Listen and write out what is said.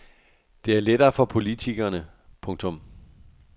Det er lettere for politikerne. punktum